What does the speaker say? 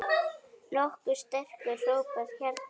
Nokkuð sterkur hópur hérna.